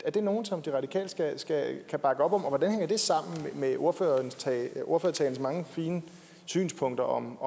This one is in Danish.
er det nogle som de radikale kan bakke op om og hvordan hænger det sammen med ordførertalens ordførertalens mange fine synspunkter om